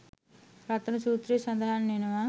රතන සූත්‍රයේ සඳහන් වෙනවා.